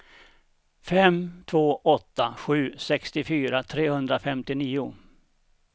fem två åtta sju sextiofyra trehundrafemtionio